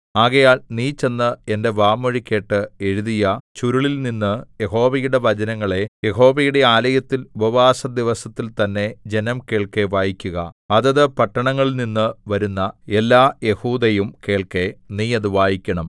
ആകയാൽ നീ ചെന്ന് എന്റെ വാമൊഴികേട്ട് എഴുതിയ ചുരുളിൽനിന്ന് യഹോവയുടെ വചനങ്ങളെ യഹോവയുടെ ആലയത്തിൽ ഉപവാസദിവസത്തിൽ തന്നെ ജനം കേൾക്കെ വായിക്കുക അതത് പട്ടണങ്ങളിൽനിന്നു വരുന്ന എല്ലാ യെഹൂദയും കേൾക്കെ നീ അത് വായിക്കണം